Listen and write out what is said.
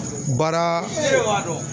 Baara dɔn.